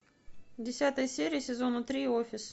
десятая серия сезона три офис